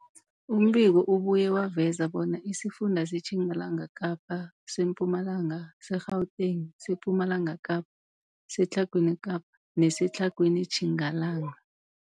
Umbiko ubuye waveza bona isifunda seTjingalanga Kapa, seMpumalanga, seGauteng, sePumalanga Kapa, seTlhagwini Kapa neseTlhagwini Tjingalanga.